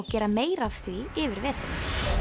gera meira af því yfir veturinn